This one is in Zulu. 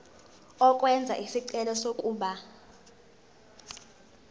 ukwenza isicelo sokuba